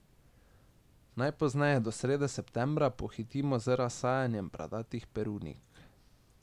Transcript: Najpozneje do srede septembra pohitimo z razsajanjem bradatih perunik.